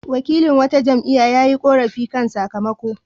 Wakilin wata jam'iyya ya yi ƙorafi kan sakamako.